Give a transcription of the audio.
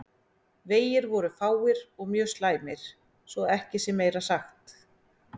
Vegir voru fáir og mjög slæmir svo að ekki sé meira sagt.